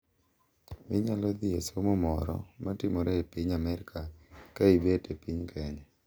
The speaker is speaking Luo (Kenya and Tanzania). Inyalo dhi e somo moro ma timore e piny Amerka ka ibet e piny Kenya.